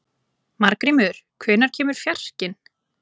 Margrímur, hvenær kemur fjarkinn?